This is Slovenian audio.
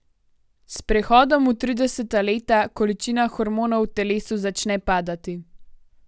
S prehodom v trideseta leta količina hormonov v telesu začne padati.